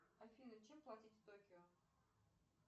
афина чем платить в токио